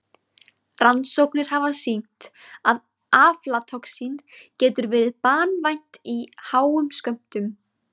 Rannsóknir hafa sýnt að aflatoxín getur verið banvænt í háum skömmtum.